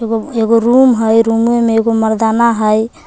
एगो एगो रूम हई रुमे मे एगो मरदाना हई।